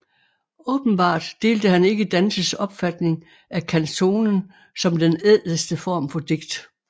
Åbenbart delte han ikke Dantes opfatning af canzonen som den ædleste form for digt